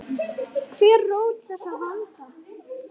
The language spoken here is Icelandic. Hver er rót þessa vanda?